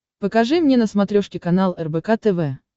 покажи мне на смотрешке канал рбк тв